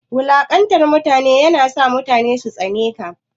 Wulanƙanta mutane na sa mutane su tsane ka.